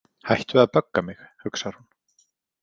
Hættu að bögga mig, hugsar hún.